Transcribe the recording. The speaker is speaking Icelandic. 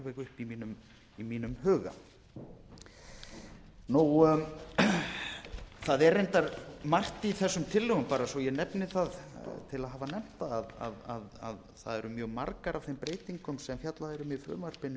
í mínum huga það er reyndar margt í þessum tillögu bara svo að ég nefni það til að hafa nefnt það að mjög margar af þeim breytingum sem fjallað er um í frumvarpinu eru yfir höfuð